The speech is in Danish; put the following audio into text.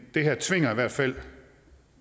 det her tvinger i hvert fald